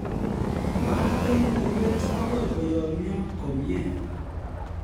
Maa eng urweet agoi koyomyo komye